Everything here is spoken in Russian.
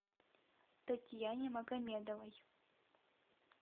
татьяне магомедовой